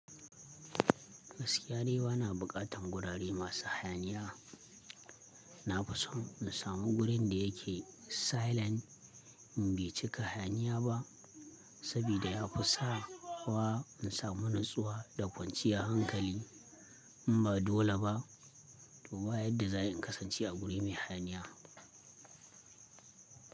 Gaskiya dai ba na bukatan gurare masu hayaniya. Na fi son in samu gurin da yake silent, in bai cika hayaniya ba, sabida ya fi sa wa in samu natsuwa da kwanciya hankali. In ba dole ba, to ba yadda za ayi in kasance a guri mai hayaniya?